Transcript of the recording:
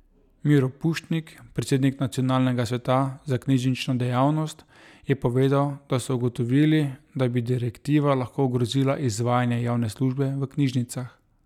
Miro Pušnik, predsednik nacionalnega sveta za knjižnično dejavnost, je povedal, da so ugotovili, da bi direktiva lahko ogrozila izvajanje javne službe v knjižnicah.